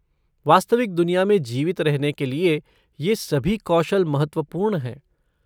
वास्तविक दुनिया में जीवित रहने के लिए ये सभी कौशल महत्वपूर्ण हैं।